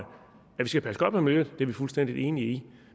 skal passe godt på miljøet er vi fuldstændig enige